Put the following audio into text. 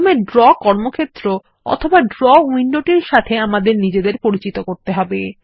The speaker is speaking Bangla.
প্রথমে ড্র কর্মক্ষেত্র অথবা ড্র উইন্ডোটির সাথে আমাদের নিজেদের পরিচিত করতে হবে